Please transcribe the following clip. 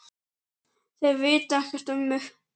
Þeir vita ekkert um mig.